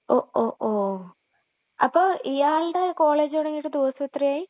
ഒ.ഓ.ഒ..അപ്പൊ ഇയാളുടെ കോളേജ് തുടങ്ങിയിട്ട് ദിവസമെത്രയായി?